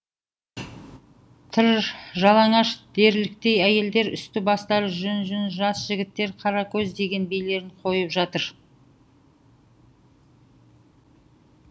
тыр жалаңаш дерліктей әйелдер үсті бастары жүн жүн жас жігіттер қаракөз деген билерін қойып жатыр